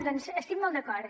doncs hi estic molt d’acord